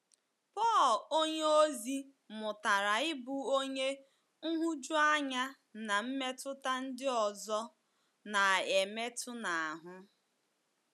Pọl onyeozi mụtara ịbụ onye nhụjuanya na mmetụta ndị ọzọ na - emetụ n’ahụ́.